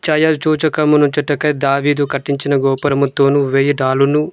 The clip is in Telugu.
ఛాయల్ చూచుకమనుచుటకై దావీదు కట్టించిన గోపురముతోను వెయ్యితాలును--